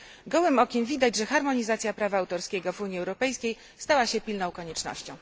Gołym okiem widać, że harmonizacja prawa autorskiego w Unii Europejskiej stała się pilną koniecznością.